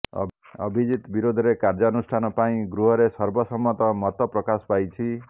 ଅଭିଜିତ ବିରୋଧରେ କାର୍ଯ୍ୟାନୁଷ୍ଠାନ ପାଇଁ ଗୃହରେ ସର୍ବ ସମ୍ମତ ମତ ପ୍ରକାଶ ପାଇଛି